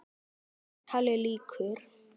Samtali lýkur.